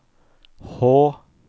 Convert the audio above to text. H